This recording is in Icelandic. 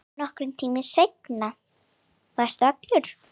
Nokkrum tímum seinna varstu allur.